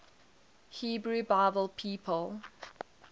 hebrew bible people